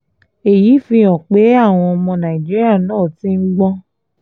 èyí fi hàn pé àwọn ọmọ nàìjíríà náà ti ń gbọ́n